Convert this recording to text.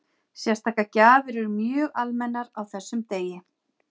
Sérstakar gjafir eru mjög almennar á þessum degi.